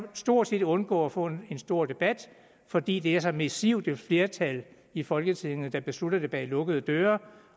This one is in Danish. stort set undgå at få en stor debat fordi det er så massivt et flertal i folketinget der beslutter det bag lukkede døre